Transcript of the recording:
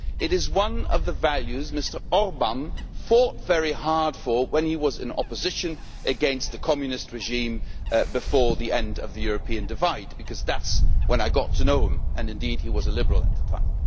It is one of the values Mr Orbán fought very hard for when he was in opposition against the Communist regime before the end of the European divide, because that is when I got to know him and, indeed, he was a Liberal at the time.